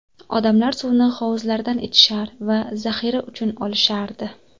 Odamlar suvni hovuzlardan ichishar va zaxira uchun olishardi .